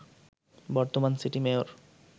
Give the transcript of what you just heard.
বর্তমান city mayor